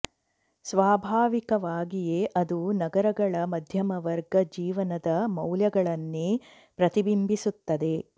ಸ್ವಾಭಾವಿಕವಾಗಿಯೇ ಅದು ನಗರಗಳ ಮಧ್ಯಮ ವರ್ಗ ಜೀವನದ ಮೌಲ್ಯಗಳನ್ನೇ ಪ್ರತಿಬಿಂಬಿಸುತ್ತದೆ